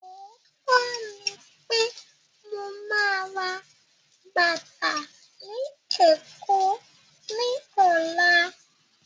Ọ̀ọ́tọ́ ní pé mo ma rà bàtà ni Èkó ni ọ̀la